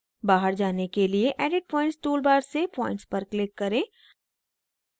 बाहर जाने के लिए edit points toolbar से points पर click करें